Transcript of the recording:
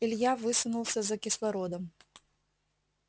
илья высунулся за кислородом